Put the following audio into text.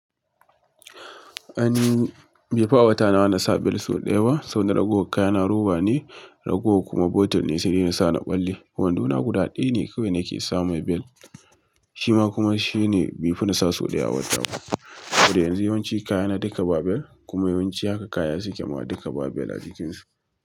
An yi bifaf a wata na na sa bel so ɗaya ba. Saboda ragowar kaya na roba ne, ragowa kuma botton ne sai dai na sa na ɓalle. Gwando na guda ɗaya ne kawai nake samu mai bel. Shi ma kuma shine bai fi na sa so ɗaya ba a wata. Saboda yanzu yawanci kaya na dinka ba bel kuma yawanci haka kaya suke ma dinka ba bel a jikin su.